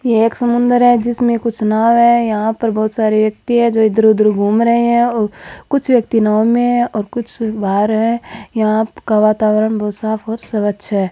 यह एक समुन्दर है जिसमें कुछ नाव है यहाँ पर बहुत सारे व्यक्ति है जो इधर उधर घूम रहे हैं और कुछ व्यक्ति नाव मैं है और कुछ बाहर है यहाँ का वातावरण बहुत साफ और स्वच्छ है।